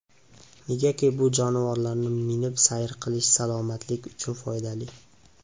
Negaki, bu jonivorlarni minib sayr qilish salomatlik uchun foydali.